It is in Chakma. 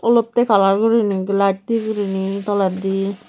olotte kalar gurinei glaj di gurinei toledi.